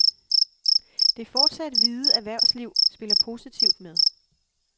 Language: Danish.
Det fortsat hvide erhvervsliv spiller positivt med.